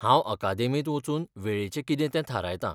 हांव अकादेमींत वचून वेळेचें कितें तें थारायतां.